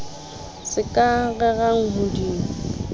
se ka rerang ho di